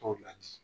Tɔw la di